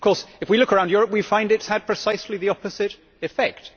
Of course, if we look around Europe we find it has had precisely the opposite effect.